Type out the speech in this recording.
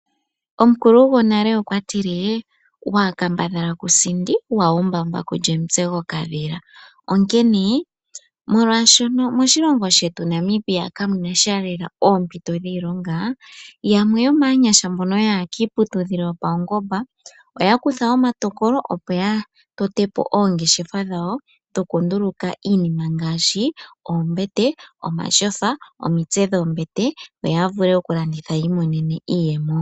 Omukulu gwonale okwa tile: “Waa kamabadhala ku sindi waa umbaumba ku li omutse gokadhila”, onkene molwaashoka moshilongo shetu Namibia kamuna sha lela oompito dhiilonga, yamwe yomaanyasha mbono yaya kiiputudhilo yopaungomba oya kutha omatokolo, opo ya tote po oongeshefa dhawo dhoku nduluka iinima ngaashi oombete, omatyofa, omitse dhoombete yo ya vule oku landitha yi imonene mo iiyemo.